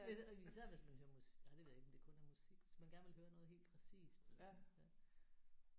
Ja især hvis man hører musik nej det ved jeg ikke om det kun er musik hvis man gerne vil høre noget helt præcist eller sådan ja